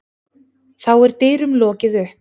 Þá er dyrum lokið upp.